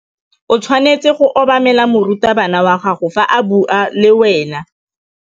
O tshwanetse go obamela morutabana wa gago fa a bua le wena.